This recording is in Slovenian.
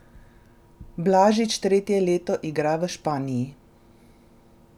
Blažič tretje leto igra v Španiji.